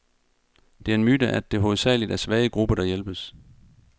Det er en myte, at det hovedsageligt er svage grupper, der hjælpes.